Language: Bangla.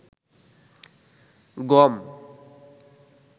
গম